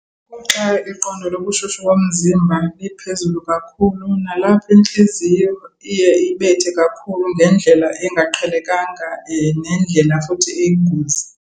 Kuxa iqondo lobushushu bomzimba liphezulu kakhulu, nalapho intliziyo iye ibethe kakhulu ngendlela engaqhelekanga nendlela futhi eyingozi.